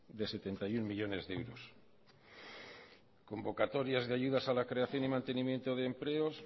de setenta y uno millónes de euros convocatorias de ayudas a la creación y mantenimiento de empleos